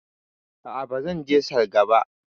A'a, ba zan je salga ba